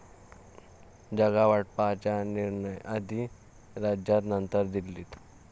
जागावाटपाचा निर्णय आधी राज्यात नंतर दिल्लीत'